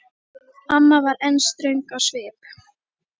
Amma var enn ströng á svip.